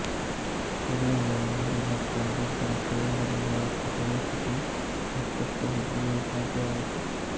ಇಲ್ಲಿಂದ ಮುಂದೆ ಮತ್ತೊಂದು ದೊಡ್ಡ ಸಿಲಿಂಡರಿ ನೊಳಕ್ಕೆ ಪ್ರವೇಶಿಸಿ ಮತ್ತಷ್ಟು ಹಿಗ್ಗುವುದೂ ಸಾಧ್ಯವಾಯಿತು